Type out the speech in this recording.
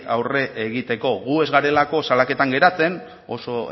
aurre egiteko gu ez garelako salaketan geratzen oso